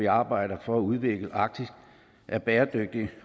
arbejde for at udvikle arktis er bæredygtigt